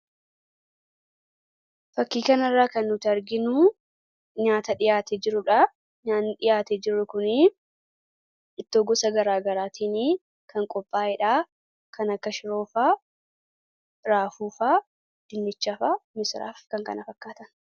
Fakkii kanarraa kan nuti arginuu nyaata dhiyaatee jiru dhaa. Nyaanni dhiyaatee jiru kunii ittoo gosa garaagaraatiinii kan qophaa'ee dhaa. Kan akka shiroofaa, raafuufaa, dinnichafaa, misiraafi kan kana fakkaatan.